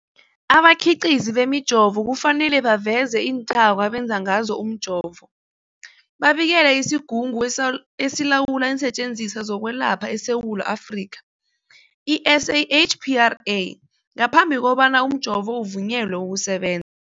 Abakhiqizi bemijovo kufanele baveze iinthako abenze ngazo umjovo, babikele isiGungu esiLawula iinSetjenziswa zokweLapha eSewula Afrika, i-SAHPRA, ngaphambi kobana umjovo uvunyelwe ukuseben